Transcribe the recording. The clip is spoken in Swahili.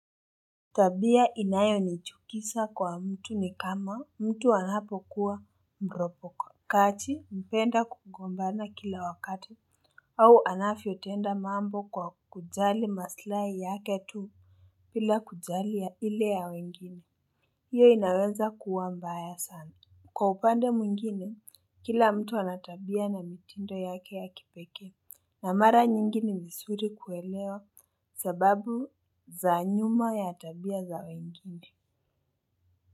Tabia inayonichukisa kwa mtu ni kama mtu anapokuwa mropoko. Kachi mpenda kukombana kila wakati au anafyotenda mambo kwa kujali maslai yake tu pila kujali ya ile ya wengine. Hiyo inaweza kuwa mbaya sana. Kwa upande mwingine, kila mtu ana tabia na mitindo yake ya kipekee na mara nyingine ni visuri kuelewa sababu za nyuma ya tabia za wengine.